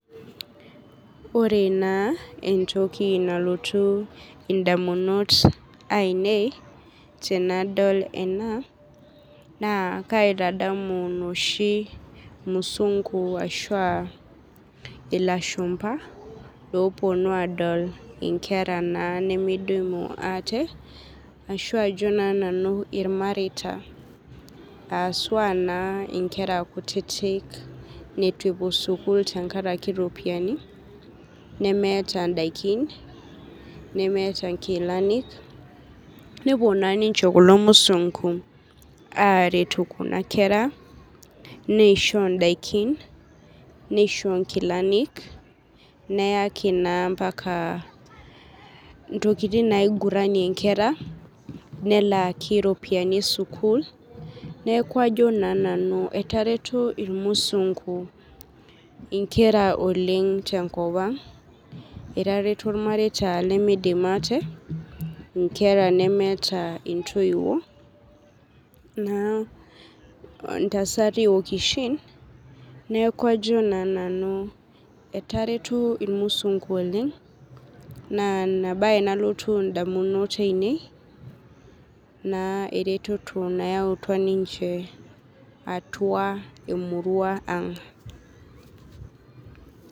ore na entoki nalotu indamunot ainei tenadol ena na kaitadamu inoshi musungu ashu aa ilashumba, iloponu adol inoshi kera nemidimu ate ashu ajo na nanu imareita, aaswa na inkera kutiti netu epuo sukul tenkaraki iropiani nemeeta indaiki nemeta inkilani nepuo na ninche kulo musungu, aretu kuna kera nisho indaiki nisho inkilani neyaki na embaka intokitin nainguranie kuna kera, nelaki na iropiani esukul, niaku ajo na naunu etareto ta ilmusungu, inkera oleng tenkop ang etareto ilmareita nemeidim ate inkera nemeta intoiwuo naa ntasati okishin niaku ajo na nanu etareto ilmusungu oleng, na ina bae nalotu indamut ainei, na eretoto nayautua ninche na emurua ang.